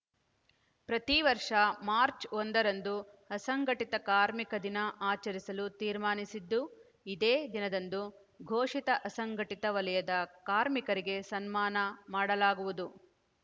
ಪ್ರತಿ ವರ್ಷ ಮಾರ್ಚ್ ಒಂದರಂದು ಅಸಂಘಟಿತ ಕಾರ್ಮಿಕ ದಿನ ಆಚರಿಸಲು ತೀರ್ಮಾನಿಸಿದ್ದು ಇದೇ ದಿನದಂದು ಘೋಷಿತ ಅಸಂಘಟಿತ ವಲಯದ ಕಾರ್ಮಿಕರಿಗೆ ಸನ್ಮಾನ ಮಾಡಲಾಗುವುದು